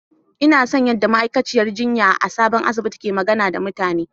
Ina son yadda ma'aikaciyar jinya a sabon asibitin ke magana da mutane.